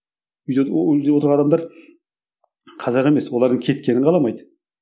отырған адамдар қазақ емес олардың кеткенін қаламайды